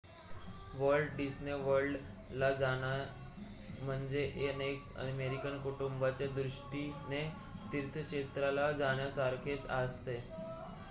Walt Disney World ला जाणे म्हणजे अनेक अमेरिकन कुटुंबाच्या दृष्टीने तीर्थक्षेत्राला जाण्यासारखेच असते